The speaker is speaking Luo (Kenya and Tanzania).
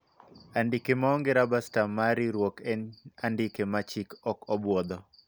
andike maonge raba stamp mar riwruok en andike ma chik ok obwodho